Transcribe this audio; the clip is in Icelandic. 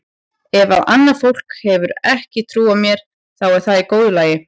Ef að annað fólk hefur ekki trú á mér þá er það í góðu lagi.